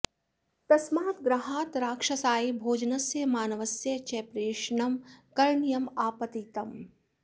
तस्मात् गृहात् राक्षसाय भोजनस्य मानवस्य च प्रेषणं करणीयम् आपतितम्